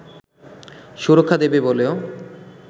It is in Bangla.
সুরক্ষা দেবে বলেও